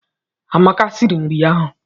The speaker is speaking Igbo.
Amaka siri nri ahụ.